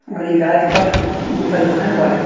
इ राजपथ परिवहन बाड़े।